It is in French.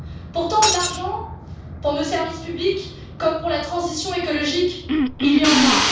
Pourtant, de l'argent pour nos services publics, comme pour la transition écologique, il y en a.